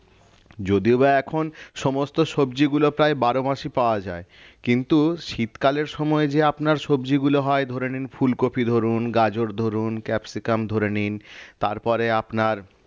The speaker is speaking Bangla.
যদিওবা এখন সমস্ত সবজিগুলো প্রায় বারো মাসই পাওয়া যায় কিন্তু শীতকালের সময় যে আপনার সবজিগুলো হয় ধরে নিন ফুলকপি ধরুন গাজর ধরুন ক্যাপসিকাম ধরে নিন তারপরে আপনার